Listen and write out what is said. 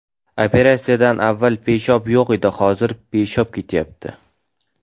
Operatsiyadan avval peshob yo‘q edi, hozir peshob kelyapti.